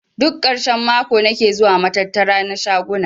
Duk karshen mako nake zuwa matattara na shaguna.